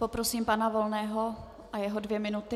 Poprosím pana Volného o jeho dvě minuty.